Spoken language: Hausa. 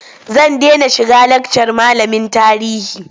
Zan dena shiga lakcar malamin tarihi.